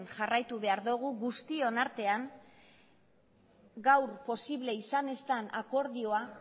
jarraitu behar dugu guztion artean gaur posible izan ez dan akordioa